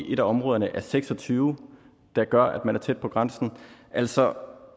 i et af områderne er seks og tyve der gør at man er tæt på grænsen altså